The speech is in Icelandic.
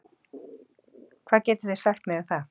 Hvað getið þið sagt mér um það?